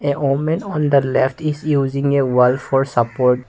a woman on the left is using a wall for support.